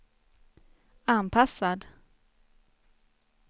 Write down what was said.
anpassad